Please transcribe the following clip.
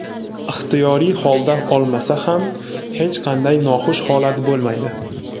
ixtiyoriy holda olmasa ham hech qanday noxush holat bo‘lmaydi.